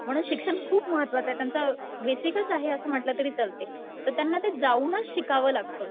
म्हणून शिक्षण खूप महत्वाचं आहे. त्यांचं बेसिकच आहे असं म्हंटल तरी चालतंय. तर त्यांना ते जाऊनच शिकावं लागतंय.